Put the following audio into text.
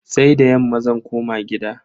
Sai da yamma zan koma gida.